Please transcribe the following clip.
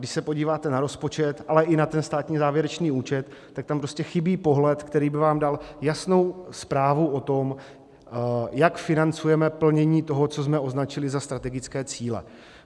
Když se podíváte na rozpočet, ale i na ten státní závěrečný účet, tak tam prostě chybí pohled, který by vám dal jasnou zprávu o tom, jak financujeme plnění toho, co jsme označili za strategické cíle.